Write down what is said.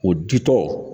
O ditɔ